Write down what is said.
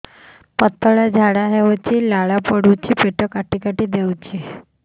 ପତଳା ଝାଡା ହଉଛି ଲାଳ ପଡୁଛି ପେଟ କାଟି କାଟି ଦଉଚି